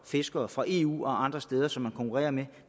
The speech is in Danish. fiskere fra eu og andre steder som de konkurrerer med